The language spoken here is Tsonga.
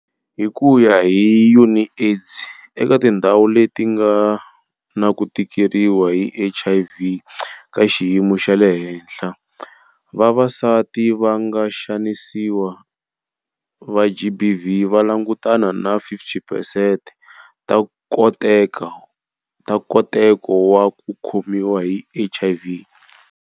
Hi ku ya hi UNAIDS, eka tindhawu leti nga na ku tikeriwa hi HIV ka xiyimo xa le henhla, vavasati va nga vaxanisiwa va GBV va langutana na 50 percent ta nkoteko wa ku khomiwa hi HIV.